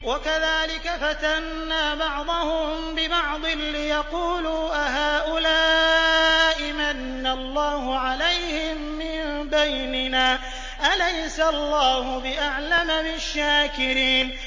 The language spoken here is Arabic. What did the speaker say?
وَكَذَٰلِكَ فَتَنَّا بَعْضَهُم بِبَعْضٍ لِّيَقُولُوا أَهَٰؤُلَاءِ مَنَّ اللَّهُ عَلَيْهِم مِّن بَيْنِنَا ۗ أَلَيْسَ اللَّهُ بِأَعْلَمَ بِالشَّاكِرِينَ